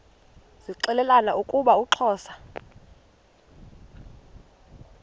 zixelelana ukuba uxhosa